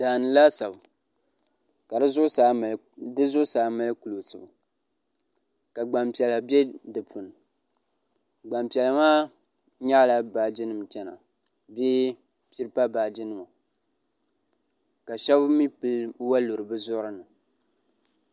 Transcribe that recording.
daani laasabu ka di zuɣusaa mali kuɣusi ka gbanpiɛla bɛ di puuni Gbanpiɛla maa nyaɣala baaji nim chɛna bee pipa baaji nima ka shab mii pili woliɣi bi zuɣu ni